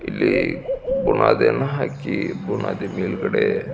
ಇಲ್ಲಿ ಬುನಾದಿಯನ್ನು ಹಾಕಿ ಬುನಾದಿ ಮೇಲ್ಗಡೆ --